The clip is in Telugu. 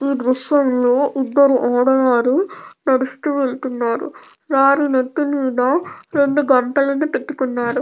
ఈ దృశ్యం లో ఇద్దరు ఆడవారు నడుస్తూ వెళ్తున్నారు వారి నెత్తి మీద రెండు గంటలను పెట్టుకున్నారు.